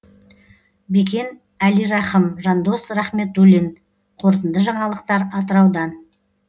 бекен әлирахым жандос рахметуллин қорытынды жаңалықтар атыраудан